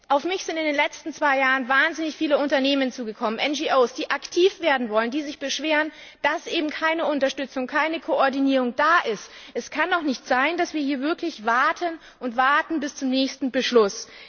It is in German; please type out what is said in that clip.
Auf mich sind in den letzten zwei Jahren wahnsinnig viele Unternehmen zugekommen, NGOs, die aktiv werden wollen, die sich beschweren, dass eben keine Unterstützung, keine Koordinierung da ist. Es kann doch nicht sein, dass wir hier wirklich warten und warten bis zum nächsten Beschluss.